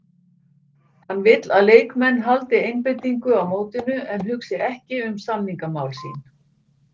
Hann vill að leikmenn haldi einbeitingu á mótinu en hugsi ekki um samningamál sín.